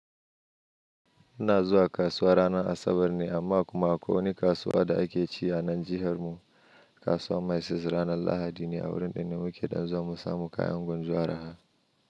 Ina zuwa kasuwa ranar Asabar ne amma kuma akwai wani kasuwa da ake ci a nan jihar mu. Kasuwa mai siz ranar Lahadi ne a wurin da ne muke ɗan zuwa mu samu kayan gwanjo araha.